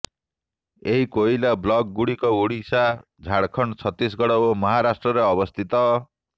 ଏହି କୋଇଲା ବ୍ଲକ୍ ଗୁଡିକ ଓଡ଼ିଶା ଝାଡଖଣ୍ଡ ଛତିଶଗଡ ଓ ମହାରାଷ୍ଟ୍ରରେ ଅବସ୍ଥିତ